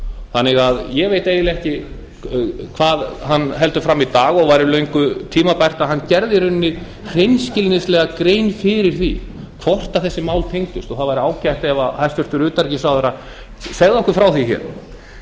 þannig að ég veit eiginlega ekki hvað hann heldur fram í dag og væri löngu tímabært að hann gerði í rauninni hreinskilnislega grein fyrir því hvort þessi mál tengdust og það væri ágætt að hæstvirtur utanríkisráðherra segði okkur frá því